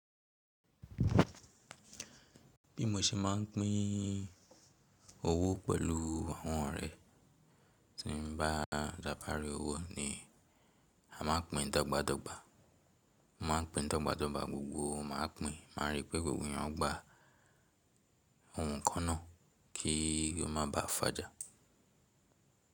Bí mo ṣe máà ń pín owó pẹ̀lú àwọn ọ̀rẹ́ tí n bá tábàári owó ni a máa ń pín dọ́gba dọ́gba. Mo máa ń pín dọ́gba dọ́gba, gbogbo wa máa pín, máá rí pé gbogbo ẹ̀yàn gba ohun kan náà kí ó má baà fàjà.